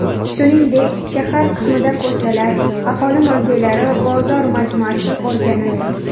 Shuningdek, shahar qismida ko‘chalar, aholi mavzelari, bozor majmuasi o‘rganildi.